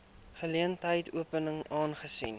geleentheid open aangesien